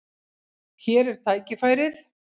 Hér er tækifærið.